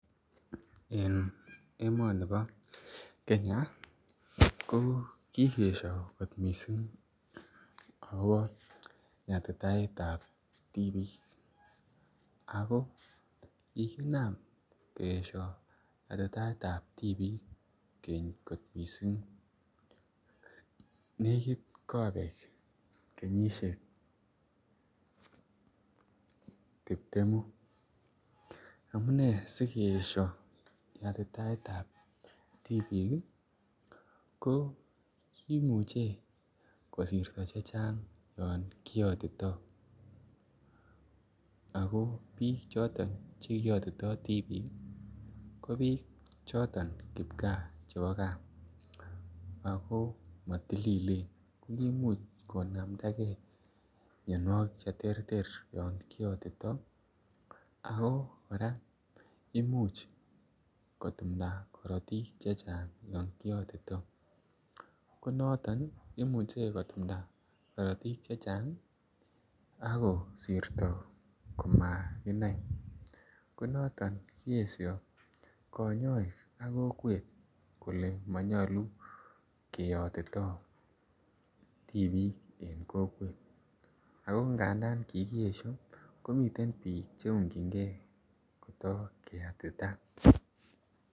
En emoni bo Kenya ko ki keesyo kot mising akobo yatitaetab tibik ako kikinam keesyo yatitaetab ab tibik keny mising nekit kobek kenyisiek tiptemu amune asi keesyo yatitaetab tibik ii ko kimuche kosirto chechang yon kiyotito ako bik choton Che kiyotito tibik ko bik choton chebo gaa ko kimuch konamda mianwogik Che terter yon kiyotito ako kora Imuch kotumda korotik Che Chang yon kiyotito ko noton imuche kotumda korotik chechang ak kosirto komakinai ko noton kiesyo kanyoik ak kokwet kole manyolu kiyotito tibik en kokwet ak angadan kikiesyo komiten bik Che ungjingei kota keyatita